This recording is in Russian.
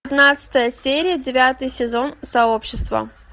пятнадцатая серия девятый сезон сообщество